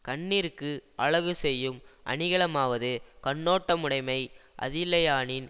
கண்ணிற்கு அழகு செய்யும் அணிகலமாவது கண்ணோட்டமுடைமை அதில்லையானின்